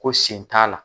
Ko sen t'a la